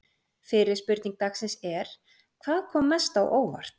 Fyrri spurning dagsins er: Hvað kom mest á óvart?